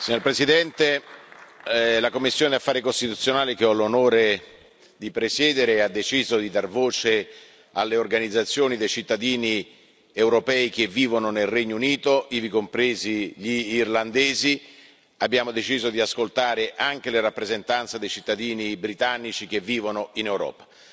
Signora Presidente, onorevoli colleghi, la commissione per gli affari costituzionali, che ho l'onore di presiedere, ha deciso di dar voce alle organizzazioni dei cittadini europei che vivono nel Regno Unito, ivi compresi gli irlandesi. Abbiamo deciso di ascoltare anche le rappresentanze dei cittadini britannici che vivono in Europa.